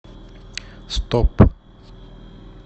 стоп